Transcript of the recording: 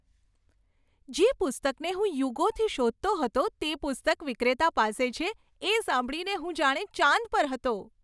જે પુસ્તકને હું યુગોથી શોધતો હતો તે પુસ્તક વિક્રેતા પાસે છે એ સાંભળીને હું જાણે ચાંદ પર હતો!